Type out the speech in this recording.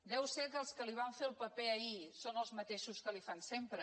deu ser que els que li van fer el paper ahir són els mateixos que l’hi fan sempre